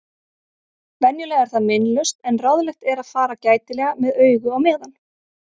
Venjulega er það meinlaust en ráðlegt er að fara gætilega með augu á meðan.